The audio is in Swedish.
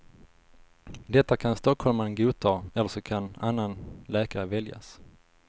Detta kan stockholmaren godta eller så kan annan läkare väljas.